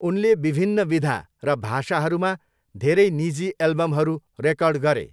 उनले विभिन्न विधा र भाषाहरूमा धेरै निजी एल्बमहरू रेकर्ड गरे।